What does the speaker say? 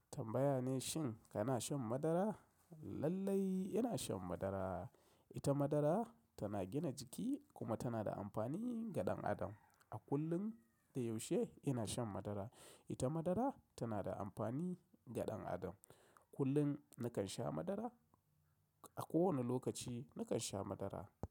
Tambaya ne shin kana shan madara? Lallai ina shan madara. Ita madara tana gina jiki kuma tana da amfani ga ɗan adam. A kullum da yaushe ina shan madara. Ita madara tana da amfani ga ɗan adam. Kullun nakan sha madara. A kowane lokaci nakan sha madara.